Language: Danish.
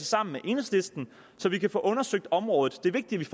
sammen med enhedslisten så vi kan få undersøgt området det er vigtigt